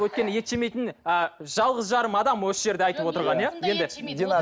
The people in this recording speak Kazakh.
өйткені ет жемейтін ы жалғыз жарым адам осы жерде айтып отырған иә